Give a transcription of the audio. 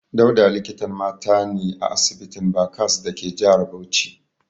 Dauda likitan mata ne a asibitin Barcas dake jihar Bauchi.